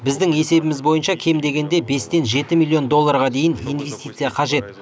біздің есебіміз бойынша кем дегенде бестен жеті миллион долларға дейін инвестиция қажет